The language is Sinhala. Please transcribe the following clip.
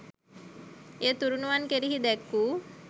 එය තුණුරුවන් කෙරෙහි දැක් වූ